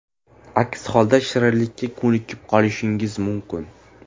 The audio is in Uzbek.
Aks holda shirinlikka ko‘nikib qolishingiz mumkin.